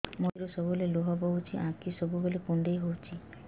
ମୋର ଆଖିରୁ ସବୁବେଳେ ଲୁହ ବୋହୁଛି ଆଖି ସବୁବେଳେ କୁଣ୍ଡେଇ ହଉଚି